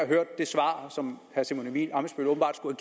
hørt det svar som herre simon emil ammitzbøll åbenbart skulle